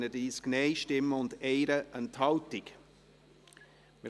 Wer die Ziffer 2 abschreiben möchte, stimmt Ja, wer dies ablehnt, stimmt Nein.